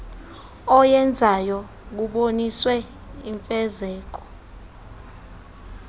oyenzayo kuboniswe imfezeko